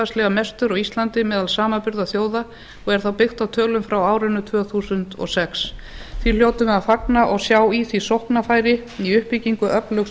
hlutfallslega mestur á íslandi meðal samanburðarþjóða og er þá byggt á tölum frá árinu tvö þúsund og sex því hljótum við að fagna og sjá í því sóknarfæri í uppbyggingu öflugs